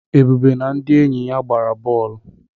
Ebube na ndị enyi ya gbara bọọlụ.